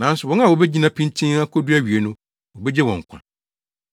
Nanso wɔn a wobegyina pintinn akodu awiei no, wobegye wɔn nkwa.